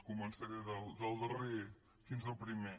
començaré del darrer fins al primer